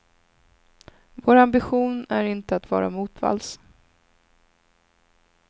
Vår ambition är inte att vara motvalls.